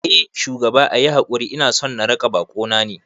Eh shugaba, ayi hakuri inason na raka bakona ne